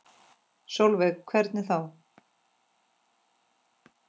Sólveig: Hvernig þá?